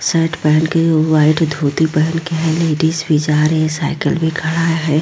Shirt पहेन के और व्हाइट धोती पहेन के है लेडीज भी जा रही है साइकल भी खड़ा है।